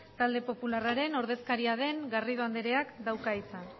talde popularraren ordezkaria den garrido andreak dauka hitza